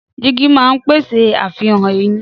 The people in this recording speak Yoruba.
Dígí máa ń pèsè àfihàn ẹ̀yìn.